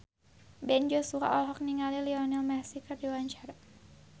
Ben Joshua olohok ningali Lionel Messi keur diwawancara